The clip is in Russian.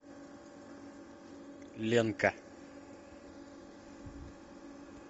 ленка